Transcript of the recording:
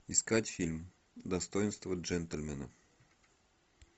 искать фильм достоинство джентльмена